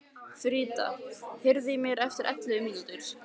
Frida, heyrðu í mér eftir ellefu mínútur.